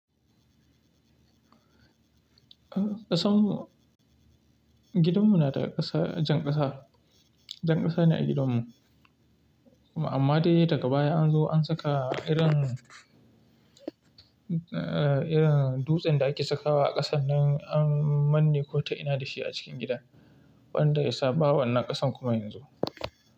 Ƙasan gidanmu na da ƙasa, jan ƙasa. Jan ƙasa ne a gidanmu. Amma dai daga baya an zo an saka irin, irin dutsen da ake sakawa a ƙasan nan an manne ko ta ina da shi a cikin gida, wanda yasa ba wannan ƙasan kuma yanzu.